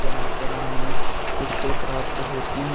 यहां पर हमें टिकटे प्राप्त होती है।